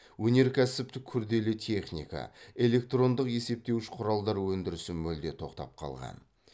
өнеркәсіптік күрделі техника электрондық есептеуіш құралдар өндірісі мүлде тоқтап қалған